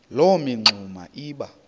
loo mingxuma iba